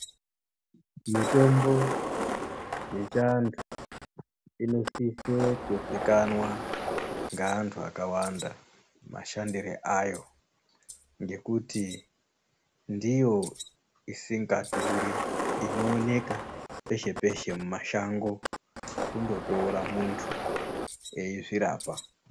Mutombo yechiantu inosise kuzikanwa ngeantu akawanda mashandire ayo, ngekuti ndiyo isingadhuri, inowoneka peshe-peshe mumashango. Kundotora muntu eizvirapa.